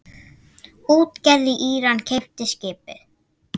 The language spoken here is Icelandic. Útgerð í Íran keypti skipið.